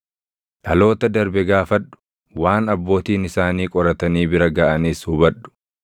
“Dhaloota darbe gaafadhu; waan abbootiin isaanii qoratanii bira gaʼanis hubadhu;